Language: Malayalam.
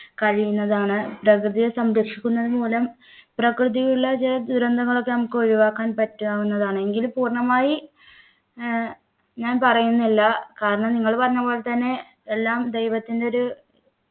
കഴിയുന്നതാണ് പ്രകൃതിയെ സംരക്ഷിക്കുന്നത് മൂലം പ്രകൃതിയിൽ ഉള്ള ചില ദുരന്തങ്ങൾ ഒക്കെ നമുക്ക് ഒഴിവാക്കാൻ പറ്റാവുന്നതാണെങ്കിൽ പൂർണമായി ഏർ ഞാൻ പറയുന്നില്ല കാരണം നിങ്ങൾ പറഞ്ഞ പോലെ തന്നെ എല്ലാം ദൈവത്തിൻ്റെ ഒരു